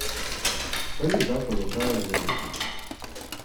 Prvi zakon je trajal dve leti.